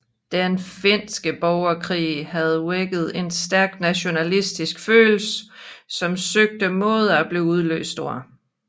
Den finske borgerkrig havde vækket en stærk nationalistisk følelse som søgte måder at blive udløst på